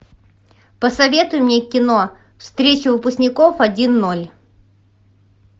посоветуй мне кино встреча выпускников один ноль